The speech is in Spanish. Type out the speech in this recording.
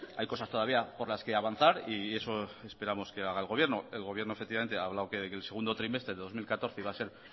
hay cosas todavía por las que avanzar y eso esperamos que haga el gobierno el gobierno efectivamente ha hablado que el segundo trimestre de dos mil catorce iba a ser